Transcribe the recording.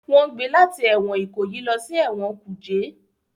Wọn gbé láti ẹwọn Ikoyi lọ sí ẹwọn kuje